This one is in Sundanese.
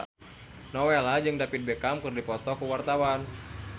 Nowela jeung David Beckham keur dipoto ku wartawan